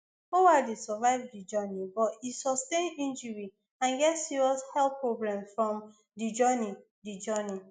oualy survive di journey but e sustain injury and get serious health problems from di journey di journey